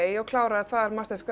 og kláraði þar